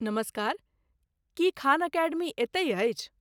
नमस्कार, की खान एकेडमी एतहि अछि?